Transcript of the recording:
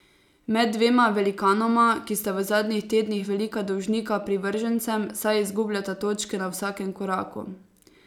Med dvema velikanoma, ki sta v zadnjih tednih velika dolžnika privržencem, saj izgubljata točke na vsakem koraku.